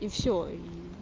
и всё и